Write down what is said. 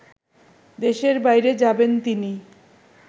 দেশের বাইরে যাবেন তিনি